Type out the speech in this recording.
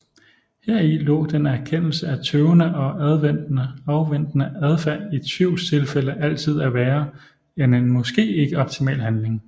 Heri lå den erkendelse af tøvende og afventende adfærd i tvivlstilfælde altid er værre end en måske ikke optimal handling